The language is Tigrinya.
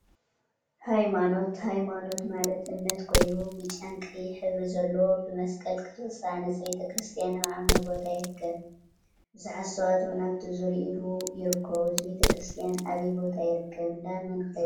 ሃይማኖት ሃይማኖት ማለት እምነት ኮይኑ፤ ብጫን ቀይሕን ሕብሪ ዘለዎ ብመስቀል ቅርፂ ዝተሃነፀ ቤተ ክርስትያን አብ ዓሚቅ ቦታ ይርከብ፡፡ ቡዙሓት ሰባት እውን አብቲ ዙርይኡ ይርከቡ፡፡ እዚ ቤተ ክርስትያን አበይ ቦታ ይርከብ ? እንዳ መን ኸ ይበሃል?